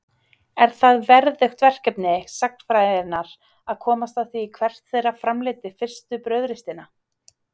Er það verðugt verkefni sagnfræðinnar að komast að því hvert þeirra framleiddi fyrstu brauðristina.